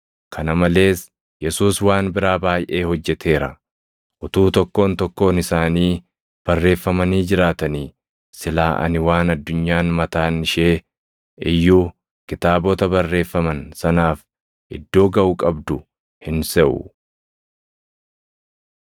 Kana malees Yesuus waan biraa baayʼee hojjeteera. Utuu tokkoon tokkoon isaanii barreeffamanii jiraatanii silaa ani waan addunyaan mataan ishee iyyuu kitaabota barreeffaman sanaaf iddoo gaʼu qabdu hin seʼu.